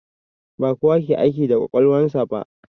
Ba kowa ke aiki da kwakwalwan sa ba.